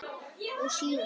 og síðan